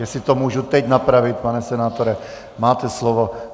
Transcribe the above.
Jestli to můžu teď napravit - pane senátore, máte slovo.